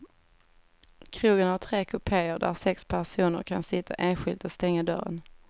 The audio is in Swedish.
Krogen har tre kupeer, där sex personer kan sitta enskilt och stänga dörren.